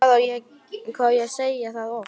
Hvað á ég að segja það oft?!